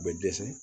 U bɛ dɛsɛ